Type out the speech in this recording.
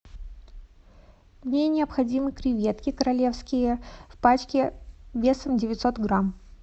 мне необходимы креветки королевские в пачке весом девятьсот грамм